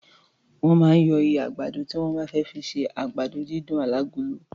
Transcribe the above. Wọ́n máa ń yọ ihá àgbàdo tí wọ́n bá fẹ́ fi ṣe àgbàdo dídùn alágolo.